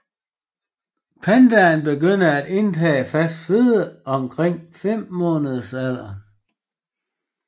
Pandaen begynder at indtage fast føde omkring femmåneders alderen